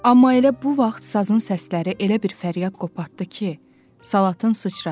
Amma elə bu vaxt sazın səsləri elə bir fəryad qopartdı ki, Salat sıçradı.